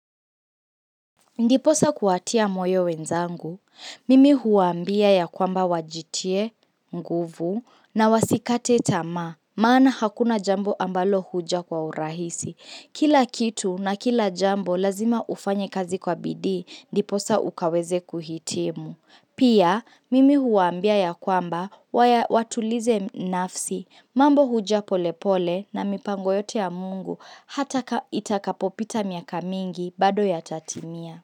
Ndiposa kuwatia moyo wenzangu, mimi huwambia ya kwamba wajitie nguvu na wasikate tamaa, maana hakuna jambo ambalo huja kwa urahisi. Kila kitu na kila jambo lazima ufanye kazi kwa bidi, ndiposa ukaweze kuhitimu. Pia, mimi huambia ya kwamba waya watulize nafsi, mambo huja pole pole na mipango yote ya mungu hata ka itakapopita miaka mingi bado yatatimia.